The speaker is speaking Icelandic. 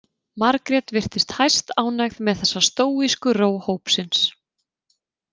Margrét virtist hæstánægð með þessa stóísku ró hópsins.